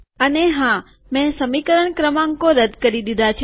અને હા મેં સમીકરણ ક્રમાંકો રદ્દ કરી દીધા છે